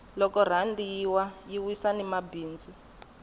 loko rhandi yi wa yi wisa ni mabindzu